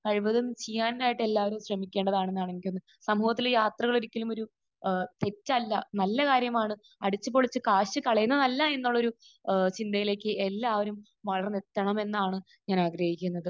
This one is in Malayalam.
കഴിവതും ചെയ്യാനായിട്ട് എല്ലാവരും ശ്രമിക്കേണ്ടതാണെന്നാണ് എന്റെ ഒരു...സമൂഹത്തിൽ യാത്രകൽ ഒരിക്കലും ഒരു ഏഹ് തെറ്റല്ല. നല്ല കാര്യമാണ്. അടിച്ച് പൊളിച്ച് കാശ് കളയുന്നതല്ലായെന്നൊരു ഏഹ് ചിന്തയിലേക്ക് എല്ലാവരും വളർന്നെത്തണമെന്നാണ് ഞാൻ ആഗ്രഹിക്കുന്നത്.